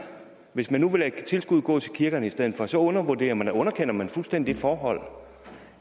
hvis man nu vil lade tilskuddet gå til kirkerne i stedet for så underkender underkender man fuldstændig det forhold